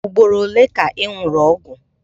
Ugboro ole ka ị ṅụrụ ọgwụ?